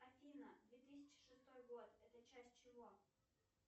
афина две тысячи шестой год это часть чего